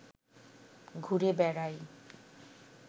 ঘুরে বেড়াই